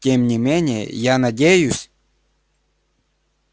тем не менее я надеюсь